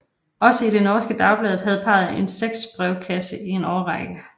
Også i det norske Dagbladet havde parret en sexbrevkasse i en årrække